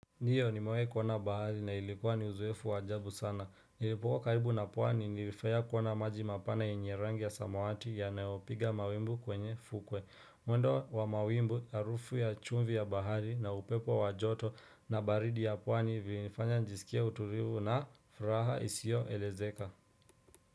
Ndio nimewai kuona bahari na ilikuwa ni uzoefu wa ajabu sana. Nilipokuwa karibu na pwani nilifuraia kuona maji mapana yenye rangi ya samawati yanaopiga mawimbu kwenye fukwe. Mwendo wa mawimbu harufu ya chumvi ya bahari na upepo wa joto na baridi ya pwani vilinifanya njisikie utulivu na furaha isio elezeka.